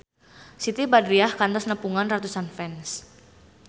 Siti Badriah kantos nepungan ratusan fans